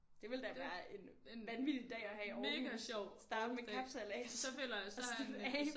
Det ville da være en vanvittig dag at have i Aarhus starte med kapsejlads og slutte af